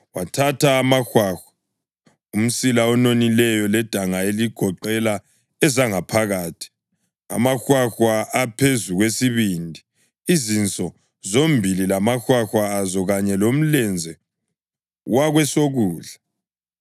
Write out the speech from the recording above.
Wathatha amahwahwa, umsila ononileyo ledanga eligoqela ezangaphakathi, amahwahwa aphezu kwesibindi, izinso zombili lamahwahwa azo kanye lomlenze wakwesokudla.